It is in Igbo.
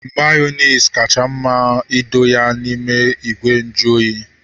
Mayonezi kacha mma ma edo ya n'ime ìgwè nju oyi